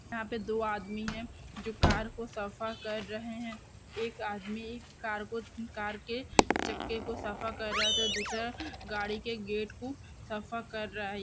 यहाँ पर दो आदमी हैं जो कार को सफा कर रहे हैं | एक आदमी कर को कार के चके को सफा कर रहा है तथा दूसरा गाड़ी के गेट को सफा कर रहा है |